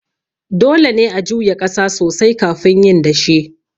Dole ne a juya ƙasa sosai kafin yin dashe.